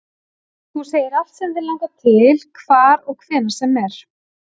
Þú segir allt sem þig langar til, hvar og hvenær sem er